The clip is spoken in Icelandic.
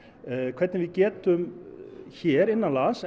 hvernig við getum hér innanlands